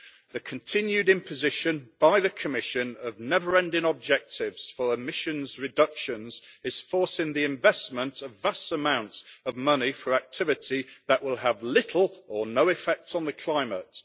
The continued imposition by the Commission of never ending objectives for emissions reductions is forcing the investment of vast amounts of money for activity that will have little or no effect on the climate.